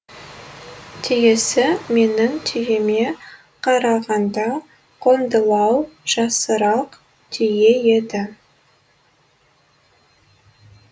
түйесі менің түйеме карағанда қоңдылау жасырақ түйе еді